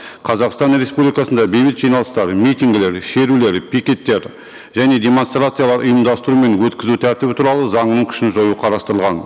қазақстан республикасында бейбіт жиналыстар митингілер шерулер пикеттер және демонстрациялар ұйымдастыру мен өткізу тәртібі туралы заңның күшін жою қарастырылған